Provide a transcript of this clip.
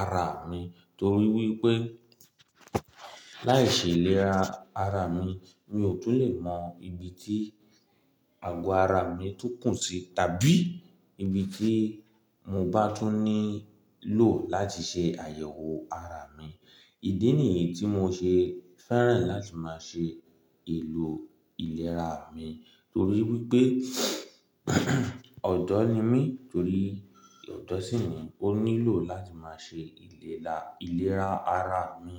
ara mi torí wípé láìṣe ìlera ara mi, mi ò tún lè mọ ibi tí àgọ́ ara mi tún kùn sí tàbí ibi tí mo bá tún nílò láti ṣe àyẹ̀wò ara mi. Ìdí nìyí tí mo ṣe fẹ́ràn láti máa ṣe ìlò ìlera mi torí wípé ọ̀dọ́ ni mí torí ọ̀dọ̀ ṣí ni ó nílò láti máa ṣe ìlera ara mi.